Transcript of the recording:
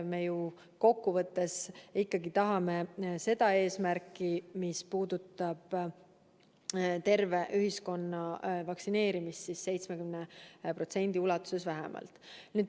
Me ju kokkuvõttes ikkagi tahame täita eesmärki vaktsineerida terve ühiskond vähemalt 70% ulatuses.